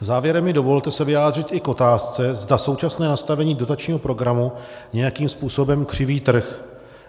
Závěrem mi dovolte se vyjádřit i k otázce, zda současné nastavení dotačního programu nějakým způsobem křiví trh.